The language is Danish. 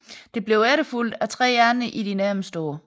Det blev efterfulgt af tre andre i de nærmeste år